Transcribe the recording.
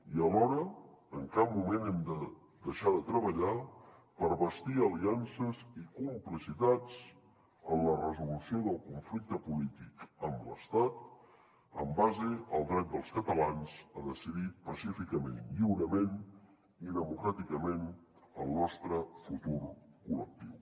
i alhora en cap moment hem de deixar de treballar per bastir aliances i complicitats en la resolució del conflicte polític amb l’estat en base al dret dels catalans a decidir pacíficament lliurement i democràticament el nostre futur col·lectiu